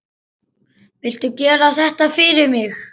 Viltu gera þetta fyrir mig!